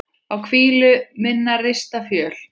á hvílu minnar rista fjöl